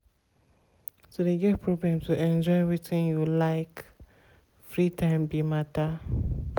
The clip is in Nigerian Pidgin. to de get problem to enjoy wetin you like free time be matter.